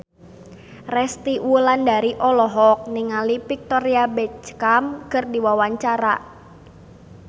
Resty Wulandari olohok ningali Victoria Beckham keur diwawancara